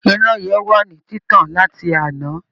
Iná yẹn wà ní títàn láti àná